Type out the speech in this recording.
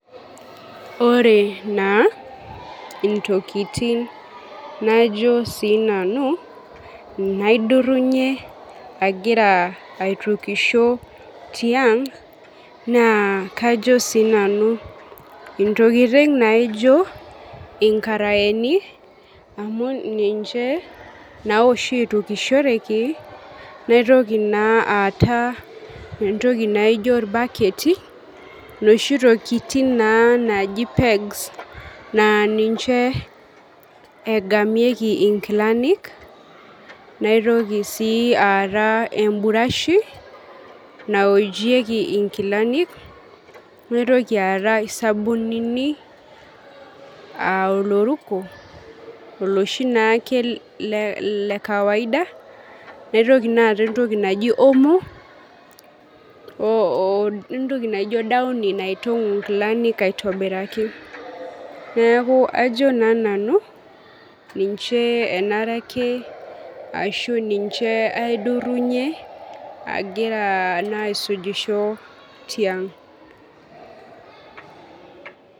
Ore naa ntokiting najo siinanu naidurunye agira aitukisho naa kajo sii nanu ntokiting naijo nkaraeni amu ninche naa oshi eitukishoreki ,naitoki naa aata entoki naijo irbaketi, noshi tokiting naa naaji pegs naa ninche egamieki nkilani ,naitoki sii aata emburashi naojieki nkilanik, naitoki aata sabunini, oloruko oloshi naake lekawaida ,naitoki naa ata entoki naji homo odaoni naitongu nkilanik aitobiraki .neeku ajo naa nanu ninche enare ake ashu niche aidurunyie agira naa aisujisho tiang.